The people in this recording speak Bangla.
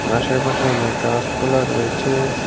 আশেপাশে অনেক গাসপালা রয়েছে।